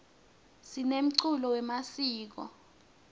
sinemculo wemasiko